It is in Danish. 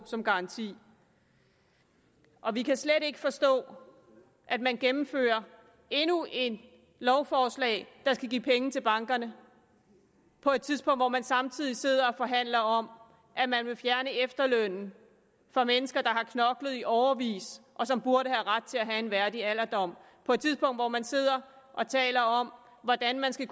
som garanti vi kan slet ikke forstå at man gennemfører endnu et lovforslag der skal give penge til bankerne på et tidspunkt hvor man samtidig sidder og forhandler om at man vil fjerne efterlønnen for mennesker der har knoklet i årevis og som burde have ret til at få en værdig alderdom på et tidspunkt hvor man sidder og taler om hvordan man skal